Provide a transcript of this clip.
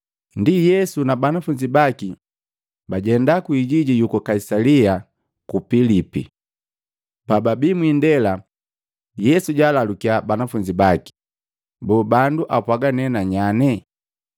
Ndi Yesu na banafunzi baki bajenda kwiijiji yuku Kaisalia Pilipi. Pababii mwiindela, Yesu jaalalukiya banafunzi baki, “Boo bandu apwaaga nee nanyane?”